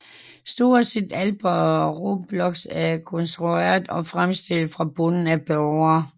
Stort set alt på Roblox er konstrueret og fremstillet fra bunden af brugere